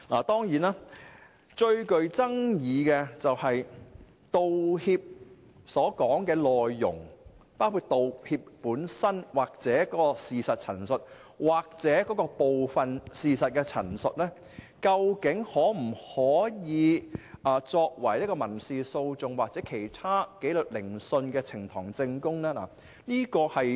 當然，最具爭議的問題是道歉所涉及的內容，包括道歉本身、事實陳述或部分事實陳述，究竟可否作為民事訴訟或其他紀律聆訊的呈堂證供？